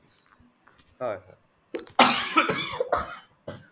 হয় হয়